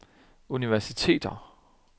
universiteter